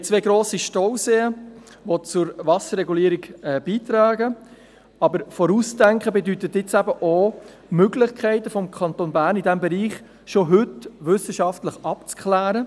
Wir haben zwei grosse Stauseen, die zur Wasserregulierung beitragen, aber Vorausdenken bedeutet auch, die Möglichkeiten des Kantons Bern in diesem Bereich schon heute wissenschaftlich abzuklären.